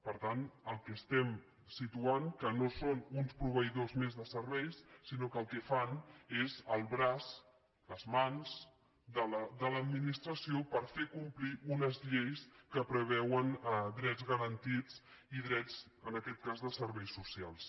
per tant el que situem és que no són uns pro·veïdors més de serveis sinó que el que fan és el braç les mans de l’administració per fer complir unes lleis que preveuen drets garantits i drets en aquest cas de serveis socials